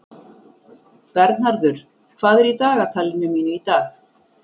Bernharður, hvað er í dagatalinu mínu í dag?